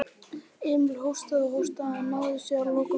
Emil hóstaði og hóstaði en náði sér að lokum.